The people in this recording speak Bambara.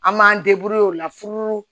An m'an o la furu